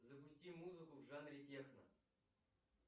запусти музыку в жанре техно